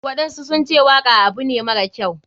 Waɗansu sunce waka abu ne mara kyau.